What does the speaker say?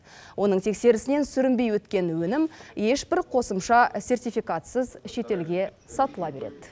оның тексерісінен сүрінбей өткен өнім ешбір қосымша сертификатсыз шетелге сатыла береді